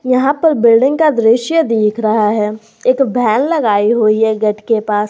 यहां पर बिल्डिंग का दृश्य देख रहा है एक वैन लगाई हुई है गेट के पास।